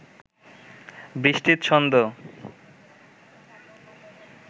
বৃষ্টির ছন্দ